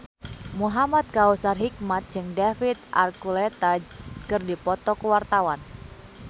Muhamad Kautsar Hikmat jeung David Archuletta keur dipoto ku wartawan